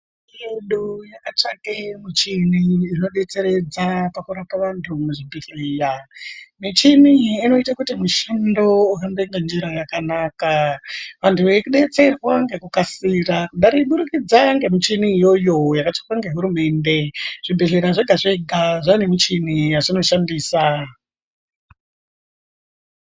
Hurumende yedu yakatsvake michini inodetseredza pakurapa vantu muzvibhehleya michini iyi inoite kuti mushando uhambe ngenjira yakanaka vantu veidetserwa ngekukasira kuburikidza ngemichini iyoyo yakatsvakwa ngehurumende zvibhehleya zvega-zvega zvaane michini yazvinoshandisa.